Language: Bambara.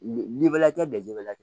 Ni bɛla kɛ bɛɛ ju bɛ la